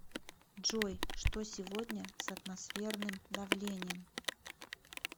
джой что сегодня с атмосферным давлением